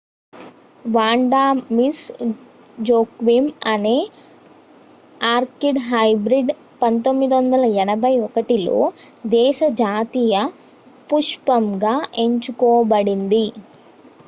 Wanda Miss Joaquim అనే orchid hybrid 1981లో దేశ జాతీయ పుష్పంగా ఎంచుకోబడింది